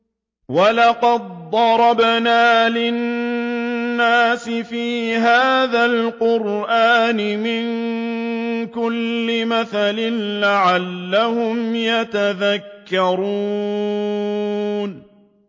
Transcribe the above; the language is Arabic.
وَلَقَدْ ضَرَبْنَا لِلنَّاسِ فِي هَٰذَا الْقُرْآنِ مِن كُلِّ مَثَلٍ لَّعَلَّهُمْ يَتَذَكَّرُونَ